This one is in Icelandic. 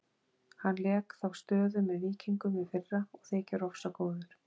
Hann lék þá stöðu með Víkingum í fyrra og þykir ofsagóður.